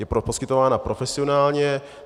Je poskytována profesionálně.